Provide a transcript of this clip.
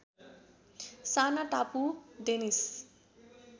साना टापु डेनिस